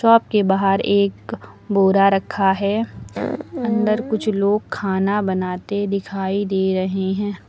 Shop के बाहर एक बोरा रखा है अंदर कुछ लोग खाना बनाते दिखाई दे रहे हैं।